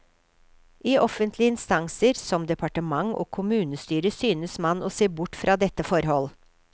I offentlige instanser, som departement og kommunestyre, synes man å se bort fra dette forhold.